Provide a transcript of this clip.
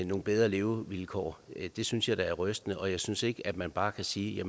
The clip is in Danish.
nogle bedre levevilkår det synes jeg da er rystende og jeg synes ikke man bare kan sige at